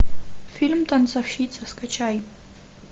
фильм танцовщица скачай